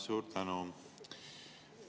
Suur tänu!